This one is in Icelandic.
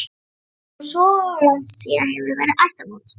Það er nú svo langt síðan hefur verið ættarmót.